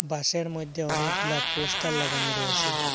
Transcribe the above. বাসের মইধ্যে অনেকগুলা পোস্টার লাগানো রয়েসে।